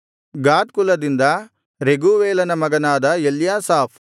ಗಾದ್ ಕುಲದಿಂದ ರೆಗೂವೇಲನ ಮಗನಾದ ಎಲ್ಯಾಸಾಫ್